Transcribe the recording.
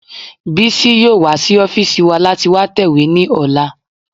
Bísí yóò wá sí ọ́fìsì wa láti wá tẹ̀wé ní ọ̀la